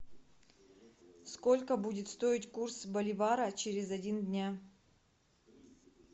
сколько будет стоить курс боливара через один дня